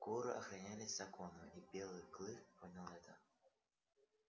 куры охранялись законом и белый клык понял это